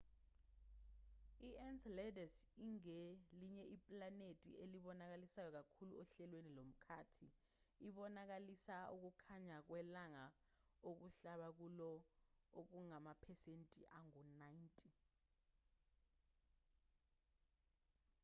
i-enceladus ingelinye iplanethi elibonakalisayo kakhulu ohlelweni lomkhathi ibonakalisa ukukhanya kwelanga okuhlaba kulo okungamaphesenti angu-90